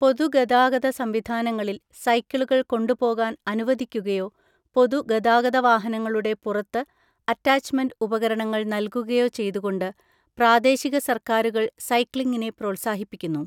പൊതുഗതാഗത സംവിധാനങ്ങളിൽ സൈക്കിളുകൾ കൊണ്ടുപോകാൻ അനുവദിക്കുകയോ പൊതുഗതാഗത വാഹനങ്ങളുടെ പുറത്ത് അറ്റാച്ച്മെന്റ് ഉപകരണങ്ങൾ നൽകുകയോ ചെയ്‌തുകൊണ്ട് പ്രാദേശിക സർക്കാരുകൾ സൈക്ലിംഗിനെ പ്രോത്സാഹിപ്പിക്കുന്നു.